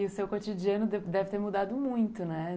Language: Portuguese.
E o seu cotidiano deve ter mudado muito, né?